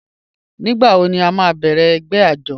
Nígbàwọ̀ ní à má bẹ̀rẹ̀ ẹgbẹ̀ àjọ̀?